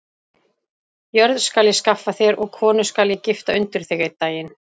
Jörð skal ég skaffa þér og konu skal ég gifta undir þig einn daginn.